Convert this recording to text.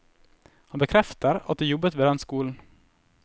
Han bekrefter at de jobbet ved den skolen.